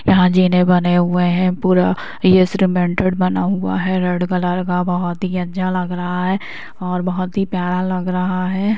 यहाँ जीने बने हुए हैं पूरा ये सिलीमेन्टेड बना हुआ है रेड कलर का बहोत ही अच्छा लग रहा है और बहोत ही प्यारा लग रहा है।